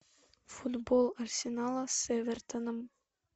футбол арсенала с эвертоном